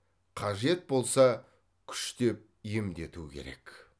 қажет болса күштеп емдету керек